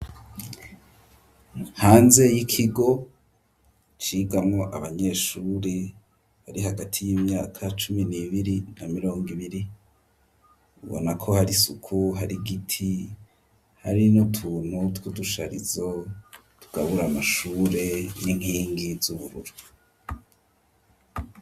Hanze y'ikigo cigamwo abanyeshure, bari hagati y'imyaka cumi n'ibiri na mirongo ibiri, ubona ko hari isuku, hari igiti, hari n'utuntu tw'udusharizo tugabura amashure n'inkingi z'ubururu.